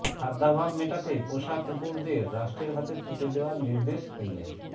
খাদ্যাভাব মেটাতে পোষা কুকুরদের রাষ্ট্রের হাতে তুলে দেওয়ার নির্দেশ কিমের